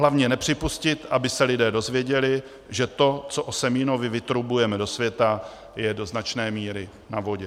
Hlavně nepřipustit, aby se lidé dozvěděli, že to, co o Semínovi vytrubujeme do světa, je do značné míry na vodě.